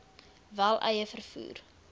wel eie vervoer